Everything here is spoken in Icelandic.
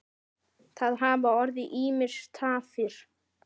Það hafa orðið ýmsar tafir.